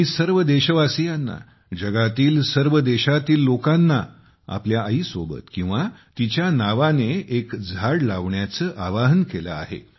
मी सर्व देशवासियांना जगातील सर्व देशांतील लोकांना आपल्या आईसोबत किंवा तिच्या नावाने एक झाड लावण्याचे आवाहन केले आहे